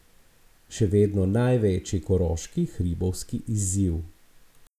Še vedno največji koroški hribovski izziv.